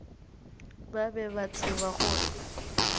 ba be ba tseba gore